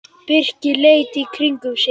Birkir leit í kringum sig.